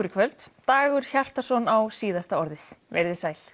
í kvöld Dagur Hjartarson á síðasta orðið veriði sæl